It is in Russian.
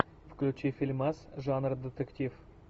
включи фильмас жанр детектив